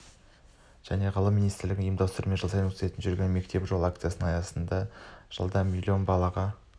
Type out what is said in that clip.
және ғылым министрлігінің ұйымдастыруымен жыл сайын өткізіп жүрген мектепке жол акциясы аясында жылда млн балаға